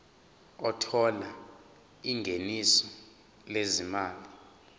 othola ingeniso lezimali